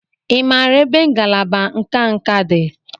Ị maara ebe ngalaba nka nka dị?